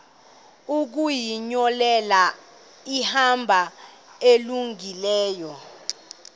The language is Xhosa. ukuzinyulela ihambo elungileyo